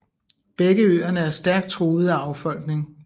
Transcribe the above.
Begge øerne er stærkt truet af affolkning